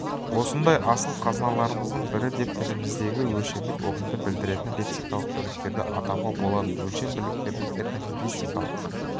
осындай асыл қазыналарымыздың бірі деп тіліміздегі өлшемдік ұғымды білдіретін лексикалық бірліктерді атауға болады өлшем бірліктердің этнолингвистикалық